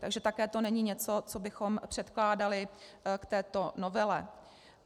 Takže také to není něco, co bychom předkládali k této novele.